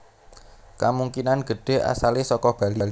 Kamungkinan gedhé asalé saka Bali